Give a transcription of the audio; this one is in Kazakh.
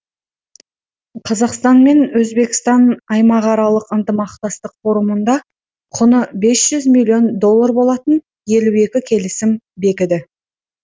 қазақстан мен өзбекстан аймақаралық ынтымақтастық форумында құны бес жүз миллион доллар болатын елу екі келісім бекіді